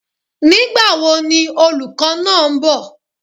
Nígbàwo ni olùkó náá nbò?